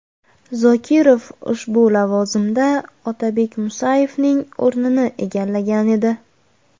Zokirov ushbu lavozimda Otabek Musayevning o‘rnini egallagan edi.